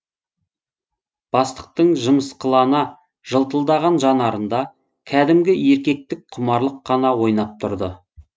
бастықтың жымысқылана жылтылдаған жанарында кәдімгі еркектік құмарлық қана ойнап тұрды